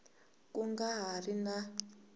ku nga ha ri na